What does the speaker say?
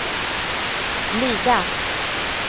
glida